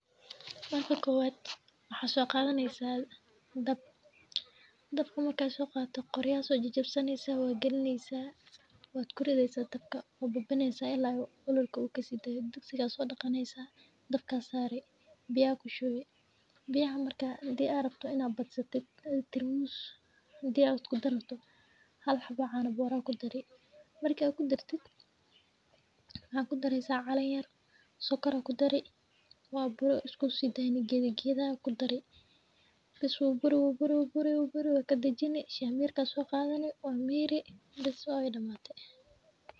Marka kuwaad waxa soo qaadanaysa dab. Dabka markaa soo qaatay, qori ayaan soji jabsaneyso waa gelinaysa. Waad kor idaysa dabka. Waa buubineysa ilaa olol ku kasii day. Dugsi gaasoo dhaqaneysaa dabka saari. Biyaa ku shubi. Biyaa markaa hadi arabto in aanu badsatid. Tiramus diyaar awood ku danato. Hal xaba caano boora ku daray. Marka ku darted, ha ku daryeen calen yar, sokorka kudariye, waa isku sidayn gida gida ku dariye. bas wuu bur wuu bur wuu bur wuu bur. Ka dejiinnay shamiir ka soo qaadanay oo miirey bisoo waa waydhamatey.